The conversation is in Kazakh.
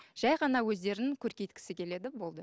жай ғана өздерін көркейткісі келеді болды